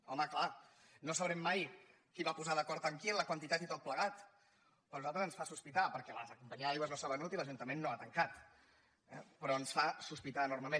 home clar no sabrem mai qui es va posar d’acord amb qui en la quantitat i tot plegat però a nosaltres ens fa sospitar perquè la companyia d’aigües no s’ha venut i l’ajuntament no ha tancat eh però ens fa sospitar enormement